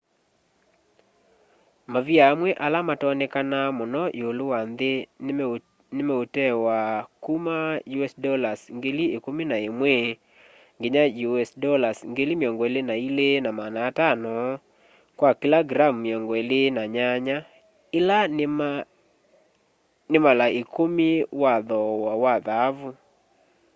mavia amwe ala matonekanaa muno iulu wa nthi ni meutewa kuma us$11,000 nginya us$22,500 kwa kila gram 28 ila ni mala ikumi wa thoowa wa thaavu